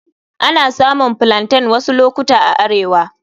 Ana samun Plaintain wasu lokuta a arewa.